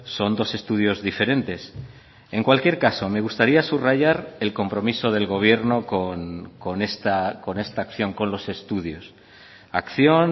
son dos estudios diferentes en cualquier caso me gustaría subrayar el compromiso del gobierno con esta acción con los estudios acción